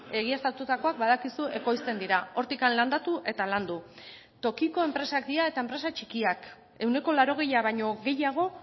egiaztatutakoak badakizu ekoizten dira hortik landatu eta landu tokiko enpresak dira eta enpresa txikiak ehuneko laurogeia baino gehiago